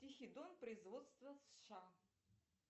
тихий дон производства сша